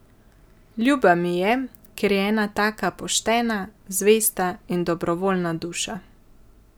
Ljuba mi je, ker je ena taka poštena, zvesta in dobrovoljna duša.